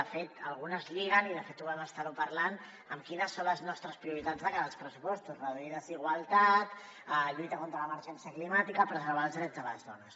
de fet algunes lliguen i de fet ho vam estar parlant amb quines són les nostres prioritats de cara als pressupostos reduir desigualtat lluitar contra l’emergència climàtica preservar els drets de les dones